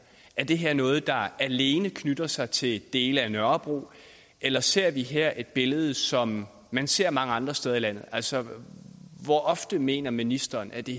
er det her noget der alene knytter sig til dele af nørrebro eller ser vi her et billede som man ser mange andre steder i landet altså hvor ofte mener ministeren at det